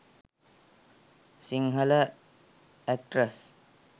sinhala actress